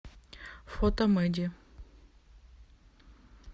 фото мэди